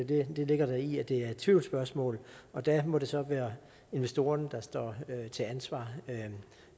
det der ligger i at det er et tvivlsspørgsmål og der må det så være investorerne der står til ansvar